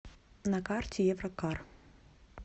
на карте еврокар